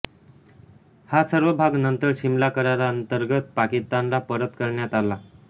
हा सर्व भाग नंतर सिमला कराराअंतर्गत पाकिस्तानला परत करण्यात आला